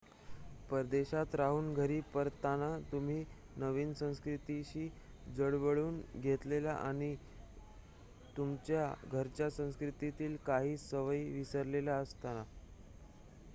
परदेशात राहून घरी परतताना तुम्ही नवीन संस्कृतीशी जुळवून घेतलेले असते आणि तुमच्या घरच्या संस्कृतीतील काही सवयी विसरलेल्या असतात